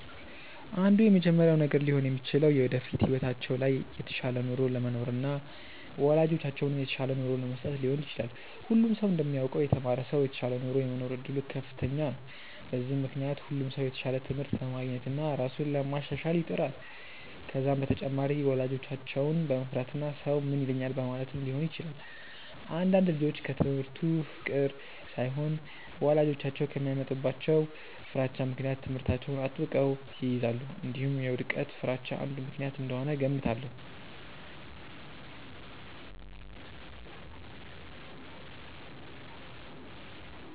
አንዱ የመጀመሪያው ነገር ሊሆን የሚችለው የወደፊት ህይወታቸው ላይ የተሻለ ኑሮ ለመኖርና ወላጆቻቸውን የተሻለ ኑሮ ለመስጠት ሊሆን ይችላል። ሁሉም ሰው እንደሚያውቀው የተማረ ሰው የተሻለ ኑሮ የመኖር እድሉ ከፍተኛ ነው። በዚህም ምክንያት ሁሉም ሰው የተሻለ ትምህርት ለማግኘትና ራሱን ለማሻሻል ይጥራል። ከዛም በተጨማሪ ወላጆቻቸውን በመፍራትና ሰው ምን ይለኛል በማለትም ሊሆን ይችላል። አንዳንድ ልጆች ከትምህርቱ ፍቅር ሳይሆን ወላጆቻቸው በሚያመጡባቸው ፍራቻ ምክንያት ትምህርታቸውን አጥብቀው ይይዛሉ። እንዲሁም የውድቀት ፍርሃቻ አንዱ ምክንያት እንደሆነ እገምታለሁ።